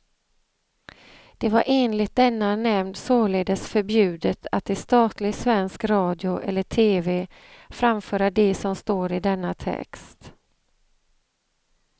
Det var enligt denna nämnd således förbjudet att i statlig svensk radio eller tv framföra det som står i denna text.